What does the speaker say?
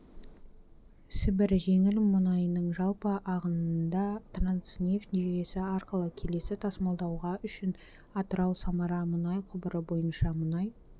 сібір жеңіл мұнайының жалпы ағынындатранснефть жүйесі арқылы келесі тасымалдауға үшін атырау-самара мұнай құбыры бойынша мұнай